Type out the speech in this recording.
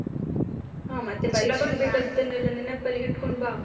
ಹಾ ಮತ್ತೆ overlsp ಪರೀಕ್ಷೆಗೆ ಬೇಕಾಗಿದದ್ದೆನ್ನೆಲ್ಲ ನೆನಪ್ಪಲ್ಲಿ ಹಿಡ್ಕೊಂಡ್ ಬಾ.